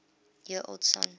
year old son